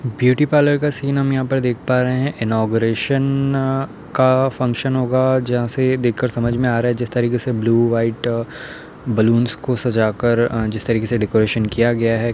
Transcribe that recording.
Beauty parlour का scene हम यहाँं पर देख पा रहे हैं। इनॉगरेशन का फंक्शन होगा जहां से देखकर समझ में आ रहा है जिस तरीके से ब्लू व्हाइट बलूंस को सजाकर अं जिस तरीके से डेकोरेशन किया गया है।